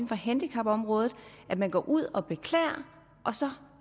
for handicapområdet at man går ud og beklager og så